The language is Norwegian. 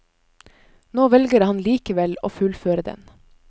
Nå velger han likevel å fullføre den.